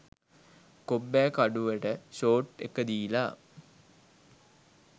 කොබ්බෑකඩුවට short ඒක දිලා